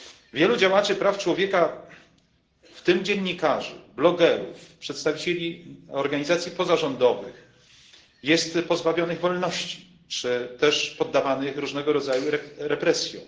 Wielu działaczy praw człowieka, w tym dziennikarzy, blogerów, przedstawicieli organizacji pozarządowych, jest pozbawionych wolności albo poddawanych różnego rodzaju represjom.